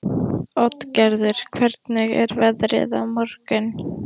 Oddgerður, hvernig er veðrið á morgun?